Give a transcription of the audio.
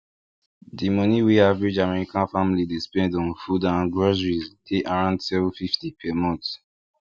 di money wey average american family dey spend on food and groceries dey around seven fifty per month